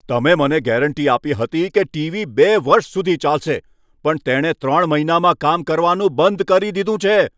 તમે મને ગેરંટી આપી હતી કે ટીવી બે વર્ષ સુધી ચાલશે પણ તેણે ત્રણ મહિનામાં કામ કરવાનું બંધ કરી દીધું છે!